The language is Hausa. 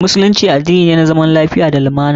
Musulunci addini ne na zaman lafiya da lumana.